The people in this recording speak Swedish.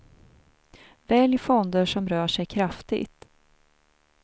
Välj fonder som rör sig kraftigt.